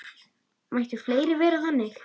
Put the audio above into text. Mættu fleiri vera þannig.